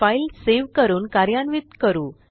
file save करून कार्यान्वित करू